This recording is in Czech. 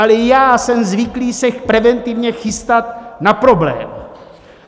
Ale já jsem zvyklý se preventivně chystat na problém.